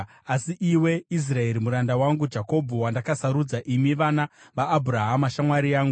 “Asi iwe, Israeri, muranda wangu, Jakobho, wandakasarudza, imi vana vaAbhurahama, shamwari yangu,